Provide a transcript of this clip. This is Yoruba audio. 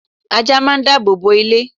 ajá máà ń dábòbò ilé